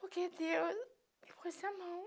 Porque Deus me pôs a mão